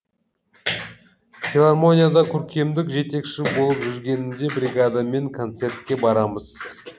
филармонияда көркемдік жетекші болып жүргенімде бригадамен концертке барамыз